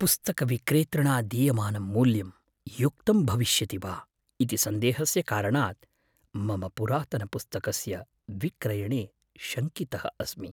पुस्तकविक्रेतृणा दीयमानं मूल्यं युक्तं भविष्यति वा इति सन्देहस्य कारणात् मम पुरातनपुस्तकस्य विक्रयणे शङ्कितः अस्मि।